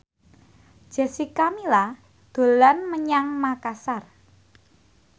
Jessica Milla dolan menyang Makasar